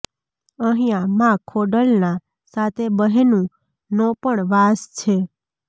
અહિયાં માં ખોડલ ના સાતે બહેનું નો પણ વાસ છે